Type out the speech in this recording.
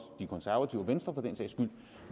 de konservative og venstre for den sags skyld